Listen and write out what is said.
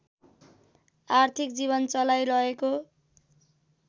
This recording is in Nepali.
आर्थिक जीवन चलाइरहेको